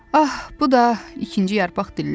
Ah, bu da, ikinci yarpaq dilləndi.